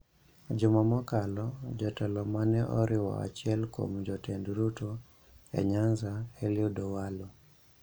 Juma mokalo, jotelo mane oriwo achiel kuom jotend Ruto e Nyanza, Eliud Owalo,